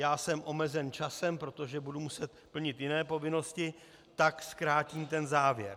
Já jsem omezen časem, protože budu muset plnit jiné povinnosti, tak zkrátím ten závěr.